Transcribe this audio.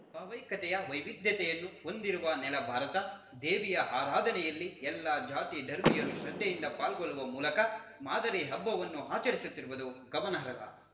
ಭಾವೈಕ್ಯತೆಯ ವೈವಿಧ್ಯತೆಯನ್ನು ಹೊಂದಿರುವ ನೆಲ ಭಾರತ ದೇವಿಯ ಆರಾಧಾನೆಯಲ್ಲಿ ಎಲ್ಲ ಜಾತಿ ಧರ್ಮೀಯರೂ ಶ್ರದ್ಧೆಯಿಂದ ಪಾಲ್ಗೊಳ್ಳುವ ಮೂಲಕ ಮಾದರಿ ಹಬ್ಬವನ್ನು ಆಚರಿಸುತ್ತಿರುವುದು ಗಮನಾರ್ಹ